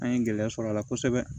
An ye gɛlɛya sɔrɔ a la kosɛbɛ